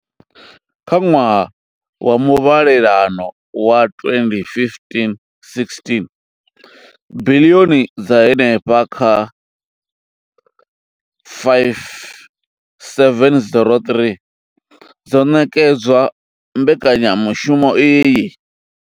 Kha ṅwaha wa muvhalelano wa 2015 16, biḽioni dza henefha kha R5 703 dzo ṋekedzwa mbekanyamushumo iyi.